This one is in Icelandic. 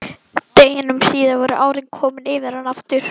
Deginum síðar voru árin komin yfir hana aftur.